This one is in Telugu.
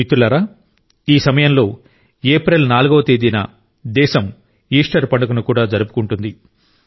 మిత్రులారా ఈ సమయంలో ఏప్రిల్ 4 వ తేదీన దేశం ఈస్టర్ పండుగను కూడా జరుపుకుంటుంది